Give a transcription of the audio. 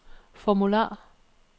formular